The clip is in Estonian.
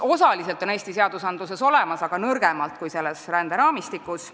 Osaliselt on need Eesti seadustes olemas, aga nõrgemalt kui selles ränderaamistikus.